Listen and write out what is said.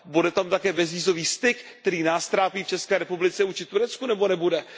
Bude tam také bezvízový styk, který nás trápí v České republice vůči Turecku, nebo nebude?